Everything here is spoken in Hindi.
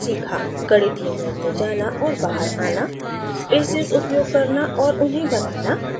गणितीय mode में जाना और बाहर आना spaces उपयोग करना और उन्हें बनाना